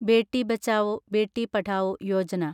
Beti Bachao, Beti Padhao Yojana